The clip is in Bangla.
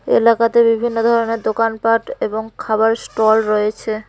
এলাকাতে বিভিন্ন ধরনের দোকানপাট এবং খাবারের স্টল রয়েছে।